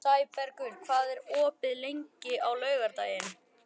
Sæbergur, hvað er opið lengi á laugardaginn?